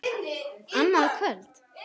Annað kvöld??